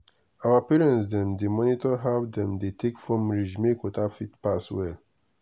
our parents dey monitor how dem dey take form ridge make water fit pass well.